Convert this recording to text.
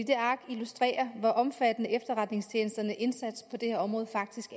det ark illustrerer hvor omfattende efterretningstjenesternes indsats på det her område faktisk